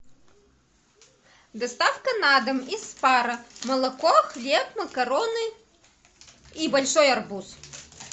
доставка на дом из спара молоко хлеб макароны и большой арбуз